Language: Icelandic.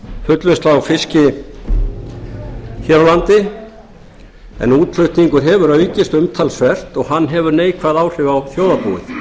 fullvinnslu á fiski hér á landi en útflutningur hefur aukist umtalsvert og hann hefur neikvæð áhrif á þjóðarbúið